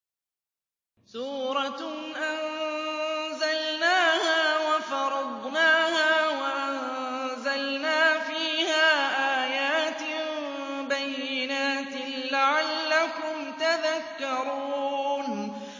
سُورَةٌ أَنزَلْنَاهَا وَفَرَضْنَاهَا وَأَنزَلْنَا فِيهَا آيَاتٍ بَيِّنَاتٍ لَّعَلَّكُمْ تَذَكَّرُونَ